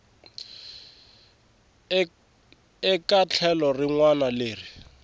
eka tlhelo rin wana leri